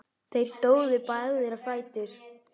Þeir stóðu báðir á fætur.